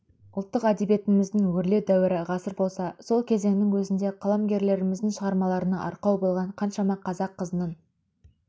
ұлттық әдебиетіміздің өрлеу дәуірі ғасыр болса сол кезеңнің өзінде қаламгерлеріміздің шығармаларына арқау болған қаншама қазақ қызының